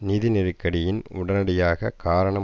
நிதி நெருக்கடியின் உடனடி காரணம்